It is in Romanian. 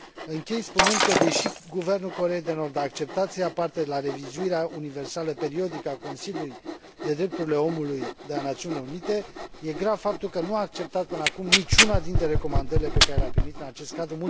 Închei spunând că, deși guvernul Coreei de Nord a acceptat să ia parte la revizuirea universală periodică a Consiliului pentru drepturile omului de la Națiunile Unite, e grav faptul că nu a acceptat până acum niciuna dintre recomandările pe care le a primit în acest cadru.